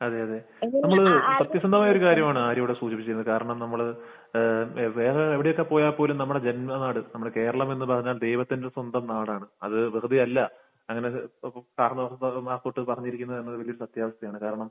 അതെ. അതെ. നമ്മൾ സത്യസന്ധമായ ഒരു കാര്യമാണ് ആര്യ ഇവിടെ സൂചിപ്പിച്ചത്. കാരണം നമ്മൾ ഏഹ് വേറെ എവിടെയൊക്കെ പോയാൽ പോലും നമ്മുടെ ജന്മനാട്, നമ്മുടെ കേരളമെന്ന് പറഞ്ഞാൽ ദൈവത്തിന്റെ സ്വന്തം നാടാണ്. അത് വിധവയല്ല. അങ്ങനെ കാരണവർമാർ തൊട്ട് പറഞ്ഞിരിക്കുന്നത് എന്നത് വലിയ സത്യാവസ്ഥയാണ്. കാരണം